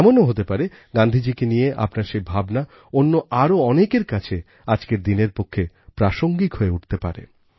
এমনও হতে পারে গান্ধীজীকে নিয়ে আপনার সেই ভাবনা অন্য আরও অনেকের কাছে আজকের দিনের পক্ষে প্রাসঙ্গিক হয়ে উঠতে পারে